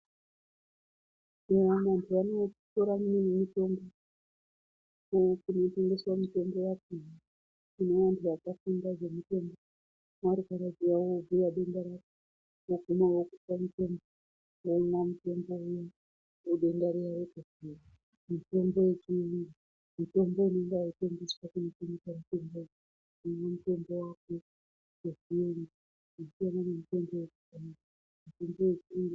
Unoznwa kupera kwemiwiri kunotengeswa mutombo wacho kwevantu vakafunda uchizwa denda rako kuti denda riri kuti muntu azwe kuda ku rutsa unopiwa mapilizi anopinesa denda riri.